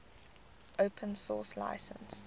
open source license